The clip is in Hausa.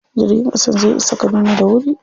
Jirgin ƙasan zai isa Kaduna da wuri.